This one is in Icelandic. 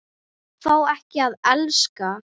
Fá ekki að elska.